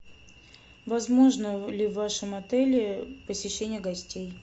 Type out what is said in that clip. возможно ли в вашем отеле посещение гостей